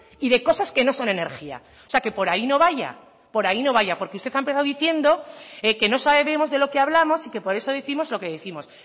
y de cosas que no son energía o sea que por ahí no vaya por ahí no vaya porque usted ha empezado diciendo que no sabemos de lo que hablamos y que por eso décimos lo que décimos